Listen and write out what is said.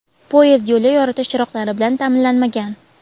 poyezd yo‘li yoritish chiroqlari bilan ta’minlanmagan.